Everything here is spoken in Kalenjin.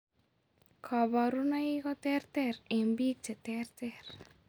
Kaborunoik koterter eng' biik cheterter